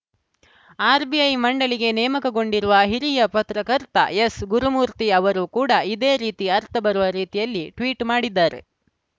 RBI ಮಂಡಳಿಗೆ ನೇಮಕಗೊಂಡಿರುವ ಹಿರಿಯ ಪತ್ರಕರ್ತ ಎಸ್‌ ಗುರುಮೂರ್ತಿ ಅವರು ಕೂಡ ಇದೇ ರೀತಿ ಅರ್ಥಬರುವ ರೀತಿಯಲ್ಲಿ ಟ್ವೀಟ್‌ ಮಾಡಿದ್ದಾರೆ